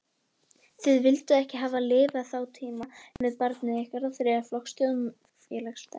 Þið vilduð ekki hafa lifað þá tíma með barnið ykkar sem þriðja flokks þjóðfélagsþegn.